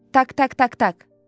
Tak tak tak tak.